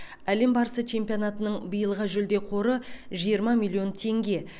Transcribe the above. әлем барысы чемпионатының биылғы жүлде қоры жиырма миллион теңге